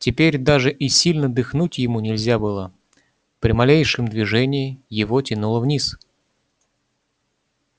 теперь даже и сильно дыхнуть ему нельзя было при малейшем движении его тянуло вниз